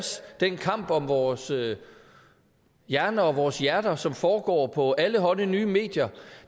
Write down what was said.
den kamp om vores hjerner og vores hjerter som foregår på allehånde nye medier